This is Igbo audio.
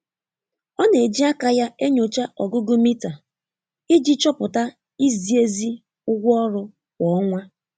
Ọ na-eji aka ya enyocha ọgụgụ mita iji chọpụta izi ezi ụgwọ ọrụ kwa ọnwa.